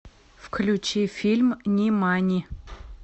включи фильм нимани